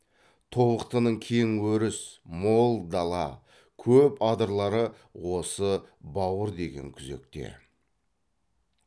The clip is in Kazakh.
тобықтының кең өріс мол дала көп адырлары осы бауыр деген күзекте